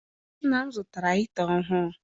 Nna m zụtara hita ọhụụ.